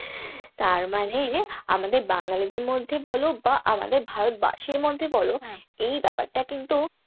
তার মানে আমাদের বাঙ্গালীদের মধ্যে বলো বা আমাদের ভারতবাসীর মধ্যে বলো এই ব্যাপারটা কিন্তু,